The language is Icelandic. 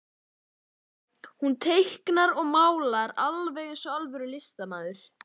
Hún teiknar og málar alveg eins og alvöru listamaður.